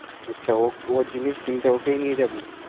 আচ্ছা ও জিনিস কিনতে ওকেই নিয়ে যাবি